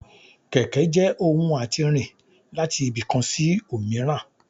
kẹkẹ je ohún atí rín latí ibi kán sí omìràn